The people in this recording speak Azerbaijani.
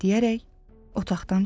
deyərək otaqdan çıxdı.